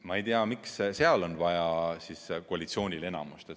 Ma ei tea, miks seal on vaja koalitsioonil enamust.